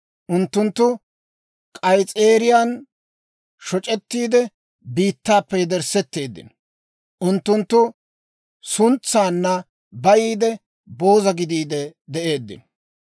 Unttunttu k'ays's'eeriyaan shoc'ettiide, biittaappe yederssetteeddino. Unttunttu suntsaanna bayiide, booza gidiide de'eeddino.